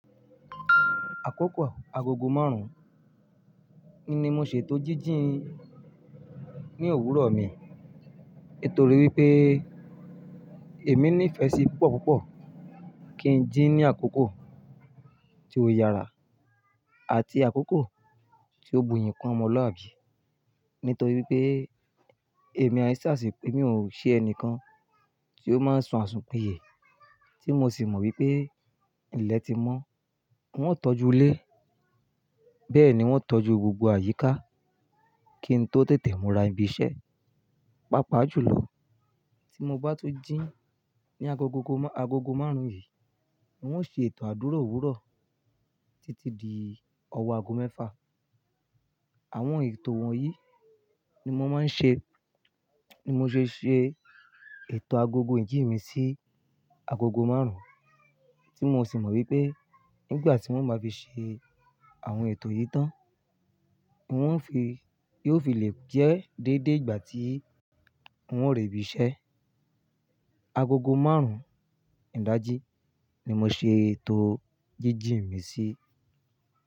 Àkókò agogo márùn-ún ni mo ṣètò jíjì n ní òwúrọ̀ mi. Torí wípé èmi nífẹ̀ẹ́ sí púpọ̀púpọ̀ kí ń jí ní àkókò tí ó yára àti àkókò tí ó buyì kún ọmọluabi. Nítorí wípé èmi ai sàsi émi ò ṣe ẹnìkan tí ó máa ń sun asùn piyè. Tí mo sì mọ wípé ilẹ̀ ti mọ́ wọn ò tọ́jú ilé. Bẹ́ẹ̀ni n o tọ́jú gbogbo àyíká kí n tó tètè múra ibi iṣẹ́. Páápáa jùlọ tí mo bá tun jí ní ago gogo mo agogo márùn-ún yìí n ó ṣe ètò àdúrà òwúrọ̀ títí di ọ̀wọ́ ago mẹ́fà. Àwọn ètò wọ̀nyí ni mo máa ń ṣe, ni mo ṣe ṣe ètò agogo ìjì mi sí agogo márùn-ún tí mo sì mọ̀ wípé nígbà tí n o bá fi ṣe àwọn ètò yìí tán N ó fi, yóò fi lè jẹ́ déédé ìgbà tí n ó re ibi iṣẹ́. Agogo márùn-ún ìdájí ni mo ṣe ètò jíjìi mi sí.